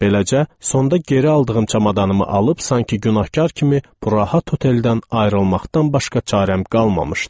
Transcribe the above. Beləcə, sonda geri aldığım çamadanımı alıb sanki günahkar kimi bu rahat hoteldən ayrılmaqdan başqa çarəm qalmamışdı.